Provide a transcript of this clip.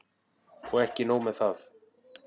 Og ekki nóg með það.